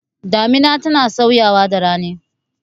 Damina tana sauyawa da rani.